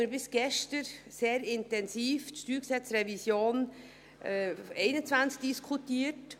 Bis gestern haben wir sehr intensiv die StG-Revision 2021 diskutiert.